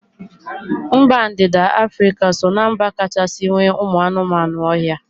Mba ndịda Afrịka so ná mba kachasị nwee ụmụ anụmanụ ohia